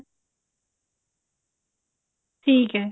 ਠੀਕ ਹੈ